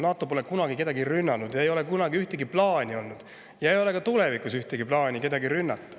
NATO pole kunagi kedagi rünnanud, tal ei ole kunagi ühtegi sellist plaani olnud ja ei ole ka tulevikus ühtegi plaani kedagi rünnata.